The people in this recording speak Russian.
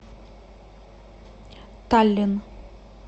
таллин